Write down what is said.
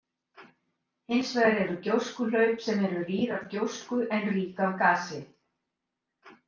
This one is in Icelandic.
Hins vegar eru gjóskuhlaup sem eru rýr af gjósku en rík af gasi.